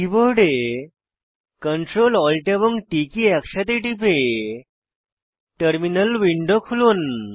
কীবোর্ডে Ctrl Alt এবং T key একসাথে টিপে টার্মিনাল উইন্ডো খুলুন